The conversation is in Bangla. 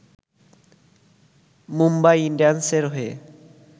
মুম্বাই ইন্ডিয়ান্সের হয়ে